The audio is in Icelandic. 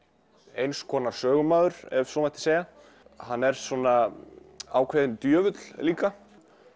eins konar sögumaður ef svo mætti segja hann er svona ákveðinn djöfull líka